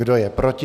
Kdo je proti?